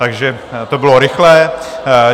Takže to bylo rychlé.